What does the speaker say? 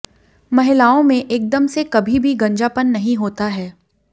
महिलाओं में एकदम से कभी भी गंजापन नहीं होता है